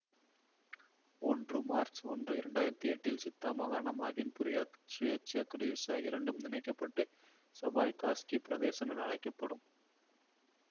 ஒன்று மார்ச் ஒன்று இரண்டாயிரத்தி எட்டு இல் சித்தா மாகாணம் அகின்புரியாத் சுயாட்சி குடியரசு ஆகிய இரண்டும் இணைக்க பட்டு சபாய்காஸ்க்கி பிரதேசம் என அழைக்க படும்